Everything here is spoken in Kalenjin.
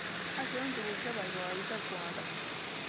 Achon tuguk cheboiboiite kwondo